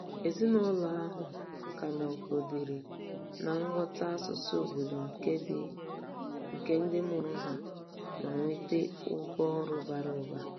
Ezinụlọ ahụ ka nọgidere na-aghọta asụsụ obodo nke ndị mụrụ ha ma nweta ụgwọ ọrụ bara ụba.